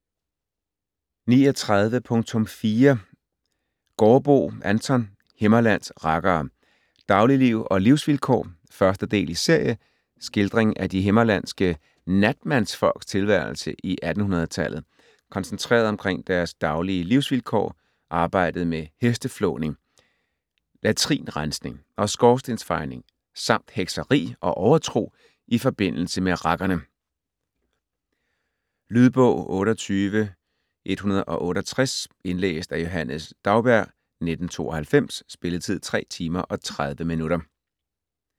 39.4 Gaardboe, Anton: Himmerlands rakkere: Dagligliv og livsvilkår 1. del i serie. Skildring af de himmerlandske natmandsfolks tilværelse i 1800-tallet koncentreret omkring deres daglige livsvilkår, arbejdet med hesteflåning, latrinrensning og skorstensfejning samt hekseri og overtro i forbindelse med rakkerne. Lydbog 28168 Indlæst af Johannes Daugbjerg, 1992. Spilletid: 3 timer, 30 minutter.